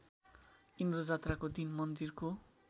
इन्द्रजात्राको दिन मन्दिरको